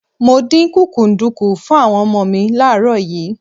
Mo dín kúkúǹdùkú fún àwọn ọmọ mi láàárọ̀ yìí.